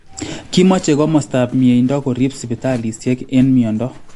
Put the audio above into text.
Kimache komostaab myeindo koriib sibitaliisiek eng myondo